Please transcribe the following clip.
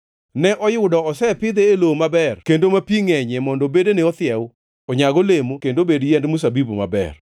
Ne oyudo osepidhe e lowo maber kendo ma pi ngʼenyie mondo bedene othiew, onyag olemo, kendo obed yiend mzabibu maber.’